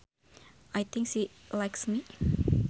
I think she likes me